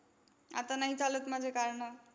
आता नाही चालत माझे कारणं.